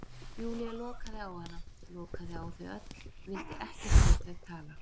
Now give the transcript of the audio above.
Júlía lokaði á hana, lokaði á þau öll, vildi ekkert við þau tala.